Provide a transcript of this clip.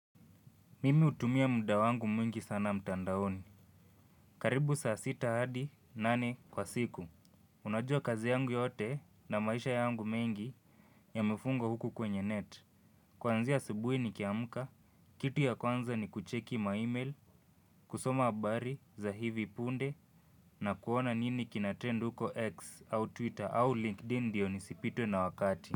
Mimi utumia muda wangu mwingi sana mtandaoni. Karibu saa sita hadi nane kwa siku. Unajua kazi yangu yote na maisha yangu mengi yamefunga huku kwenye net. Kwanzia asubui nikiamuka, kitu ya kwanza ni kucheki maimail, kusoma abari za hivi punde na kuona nini kinatrend huko X au Twitter au LinkedIn ndio nisipitwe na wakati.